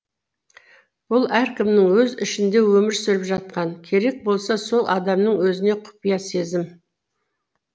бұл әркімнің өз ішінде өмір сүріп жатқан керек болса сол адамның өзіне құпия сезім